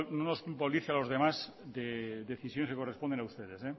nos culpabilice a los demás de decisiones que corresponden a ustedes